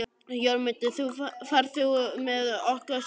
Jörmundur, ferð þú með okkur á sunnudaginn?